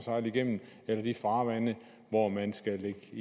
sejle igennem eller de farvande hvor man skal